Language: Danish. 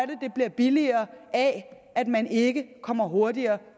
det bliver billigere af at man ikke kommer hurtigere